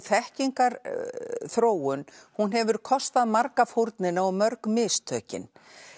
þekkingarþróun hefur kostað marga fórnina og mörg mistökin